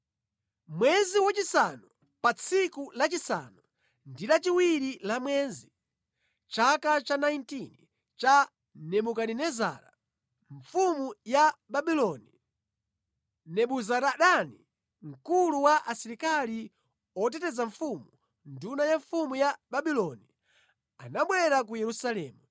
Mwezi wachisanu, pa tsiku lachisanu ndi chiwiri la mwezi, mʼchaka cha 19 cha Nebukadinezara, mfumu ya Babuloni, Nebuzaradani, mkulu wa asilikali oteteza mfumu, nduna ya mfumu ya Babuloni, anabwera ku Yerusalemu.